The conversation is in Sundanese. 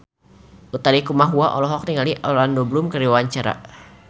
Utha Likumahua olohok ningali Orlando Bloom keur diwawancara